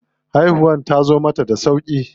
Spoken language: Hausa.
Haihuwar tazo mata da sauƙi.